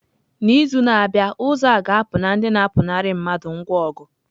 N'izu na-abịa, ụzọ a ga-apụ na ndị na-apụnara mmadụ ngwa ọgụ.